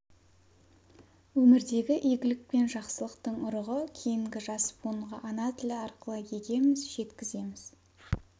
өмірдегі игілік пен жақсылықтың ұрығы кейінгі жас буынға ана тілі арқылы егеміз жеткіземіз